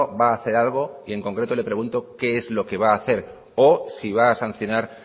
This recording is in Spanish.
va hacer algo y en concreto le pregunto qué es lo que va hacer o si va a sancionar